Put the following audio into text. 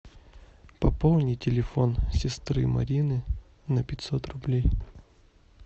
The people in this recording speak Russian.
пополни телефон сестры марины на пятьсот рублей